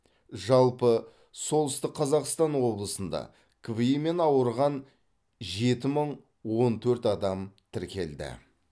жалпы солтүстік қазақстан облысында кви мен ауырған жеті мың он төрт адам тіркелді